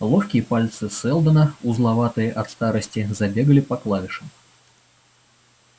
ловкие пальцы сэлдона узловатые от старости забегали по клавишам